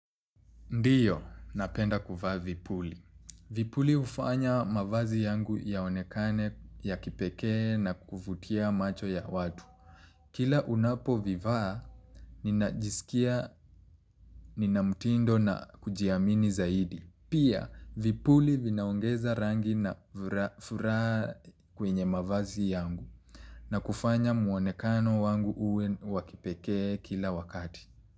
Ndiyo, napenda kuvaa vipuli. Vipuli hufanya mavazi yangu yaonekane ya kipekee na kuvutia macho ya watu. Kila unapo vivaa, ninajisikia ninamtindo na kujiamini zaidi. Pia, vipuli vinaongeza rangi na furaa kwenye mavazi yangu na kufanya muonekano wangu uwe wa kipekee kila wakati.